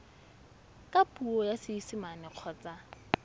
ka puo ya seesimane kgotsa